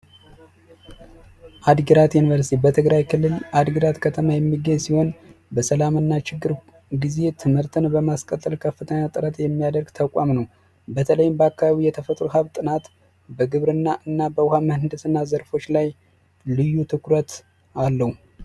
አዲግራት ዩኒቨርስቲ በትግራይ ክልል አዲግራት ከተማ የሚገኝ ሲሆን በከፍተኛ ችግር ሁልጊዜ ትምህርትን በማስቀጠል የሚታወቀ ከፍተኛ ተቋም ነው በተለይ በአካባቢው በግብርና እና በምህንድስና ዘርፎች ላይ ልዩ ትኩረት አለው።